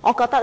我覺得